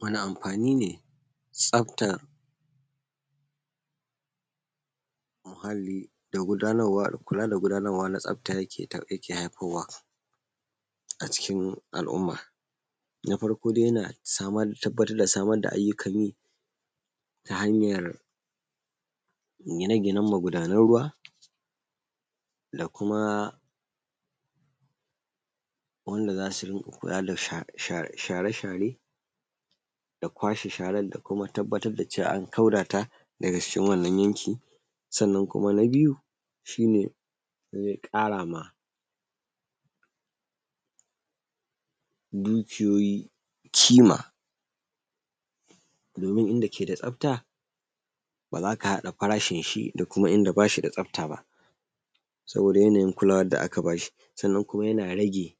Muna amfani ne, tsafta muhalli da kula da gudanarwa da tsafta yake haifarwa a cikin alumma. Na farko dai yana tabbatar da samar da aiyukan yi ta hayar gine ginen magudanan ruwa, da kuma wanda za su kula da share share, da kwashe sharan, da kuma tabbatar da cewa an kauda ta daga cikin wannan yanki. Sannan kuma na biyu shine zai ƙarama dukiyoyi ƙima domin inda ke da tsafta ba za ka haɗa farashin shi da kuma inda ba shi da tsafta ba. Saboda yanayin kulawan da aka ba shi. Sannan yana rage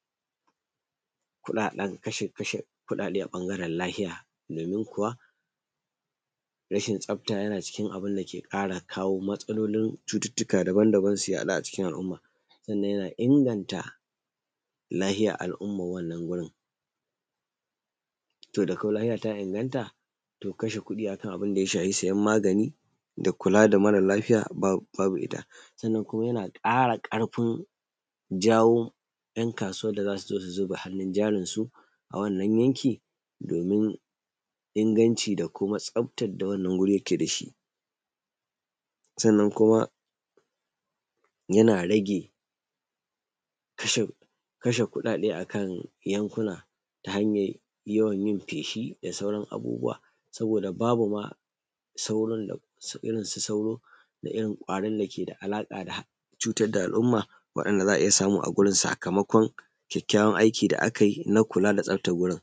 kashe kuɗaɗe a ɓangaran lafiya domin kuwa rashin tsafta yana cikin abun da ke ƙara kawo matsalolin cututuka daban daban su yaɗu a cikin al’umma. Sanna yana inganta lafiyan al’umman wannan wurin. To dakau lafiya ta inganta, to kashe kuɗi a kan abin da ya shafi siyan magani da kula da mara lafiya, babu ita. Sannan kuma yana ƙara karfin jawo ‘yan kasu wan da za su zo su zuba hannun jarinsu, a wannan yanki domin inganci da kuma tsaftan da wannan wurin yake da shi. Sannan kuma yana rage kashe kuɗaɗe a kan yankuna ta hayan yawan yin feshi da sauran abubuwa. Saboda babu ma irin su sauro da irin ƙwarin da ke da alaka da cutar da alumma, waɗanda za a iya samu a wurin, sakamakon kyakyawan aiki da a kayi na kula da staftan wurin.